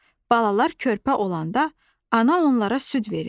Balalar körpə olanda, ana onlara süd verir.